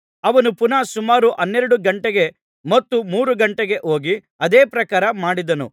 ಅವನು ಪುನಃ ಸುಮಾರು ಹನ್ನೆರಡು ಗಂಟೆಗೆ ಮತ್ತು ಮೂರು ಗಂಟೆಗೆ ಹೋಗಿ ಅದೇ ಪ್ರಕಾರ ಮಾಡಿದನು